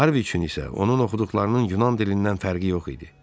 Harvey üçün isə onun oxuduqlarının Yunan dilindən fərqi yox idi.